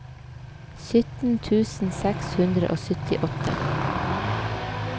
sytten tusen seks hundre og syttiåtte